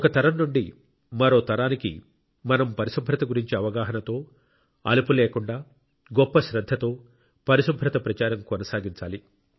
ఒక తరం నుండి మరో తరానికి మనం పరిశుభ్రత గురించి అవగాహనతో అలుపు లేకుండా గొప్ప శ్రద్ధతో పరిశుభ్రత ప్రచారం కొనసాగించాలి